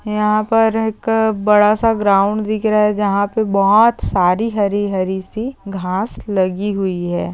यहाँ पर एक बड़ासा ग्राउंड दिख रहा है जहा पर बहुत सारी हरी हरी सी घास लगी हुई है।